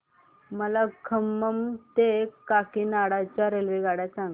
मला खम्मम ते काकीनाडा च्या रेल्वेगाड्या सांगा